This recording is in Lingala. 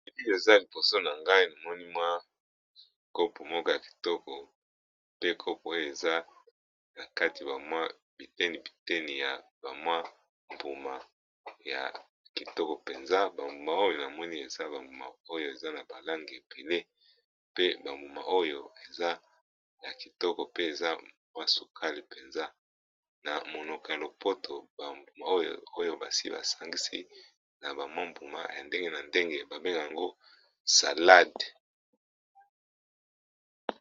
pi eza liboso na ngai amoni mwa kope moko ya kitoko pe kope oyo eza na kati bamwa biteni biteni ya bamwa mbuma ya kitoko mpenza bambuma oyo na moni eza bambuma oyo eza na balange epele pe bambuma oyo eza na kitoko pe eza mwa sokale mpenza na monoko ya lopoto bambuma oyo basi basangisi na bamwa mbuma ya ndenge na ndenge babenga yango salade